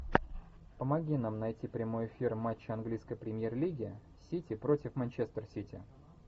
помоги нам найти прямой эфир матча английской премьер лиги сити против манчестер сити